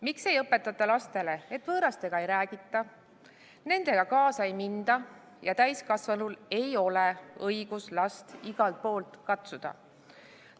Miks ei õpetata lastele, et võõrastega ei räägita, nendega kaasa ei minda ja täiskasvanul ei ole õigust last igalt poolt katsuda?